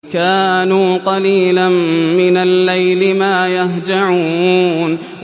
كَانُوا قَلِيلًا مِّنَ اللَّيْلِ مَا يَهْجَعُونَ